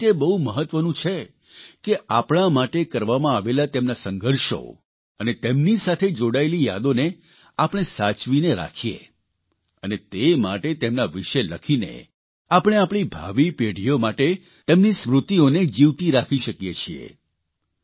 તેથી તે બહુ મહત્વનું છે કે આપણા માટે કરવામાં આવેલા તેમના સંઘર્ષો અને તેમની સાથે જોડાયેલી યાદોને આપણે સાચવીને રાખીએ અને તે માટે તેમના વિષે લખીને આપણે આપણી ભાવિ પેઢીઓ માટે તેમની સ્મૃતિઓને જીવતી રાખી શકીએ છીએ